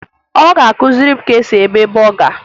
Ị ga-akụziri m ka e si eme bọga?